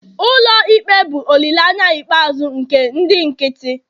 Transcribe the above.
ụlọ ikpe bụ olileanya ikpeazụ nke ndị nkịtị